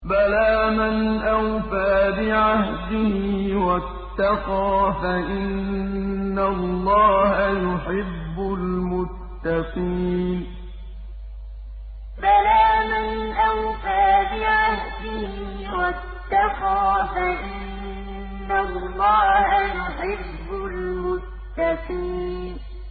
بَلَىٰ مَنْ أَوْفَىٰ بِعَهْدِهِ وَاتَّقَىٰ فَإِنَّ اللَّهَ يُحِبُّ الْمُتَّقِينَ بَلَىٰ مَنْ أَوْفَىٰ بِعَهْدِهِ وَاتَّقَىٰ فَإِنَّ اللَّهَ يُحِبُّ الْمُتَّقِينَ